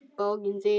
Bókin þín